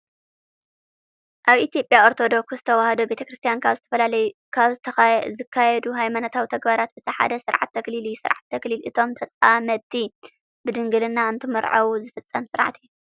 ኣብ ኢትዮጵያ ኦርቶዶክር ተዋህዶ ቤተክርስቲያን ካብ ዝካየዱ ሃይማኖታዊ ተግባራት እቲ ሓደ ስርዓተ ተክሊል እዩ። ስርዓተ ተክሊል እቶም ተፃመድቲ ብድንግልና እንትምርዓዉ ዝፍፀም ስርዓት እዩ።